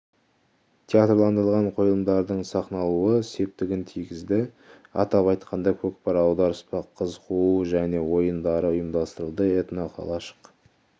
театрландырылған қойылымдардың сахналануы септігін тигізді атап айтқанда көкпар аударыспақ қыз қуу және ойындары ұйымдастырылды этноқалашық